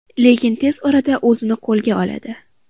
Lekin tez orada o‘zini qo‘lga oladi.